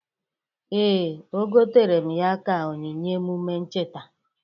Ee, o gotere m ya ka onyinye emụme ncheta.